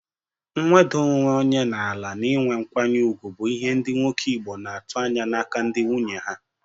Nweda onwe onye na-ala na ị nwe nkwanye ugwu bụ ihe ndị nwoke Igbo na-atụ anya n'aka ndị nwunye ha.